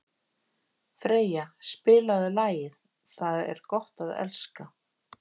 Freyja, spilaðu lagið „Það er gott að elska“.